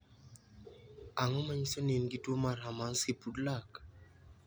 Ang'o ma nyiso ni in gi tuwo mar Hermansky Pudlak?